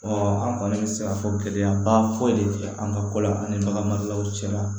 an kɔni bɛ se k'a fɔ gɛlɛyaba foyi de tɛ an ka ko la an ni baganmaraw cɛla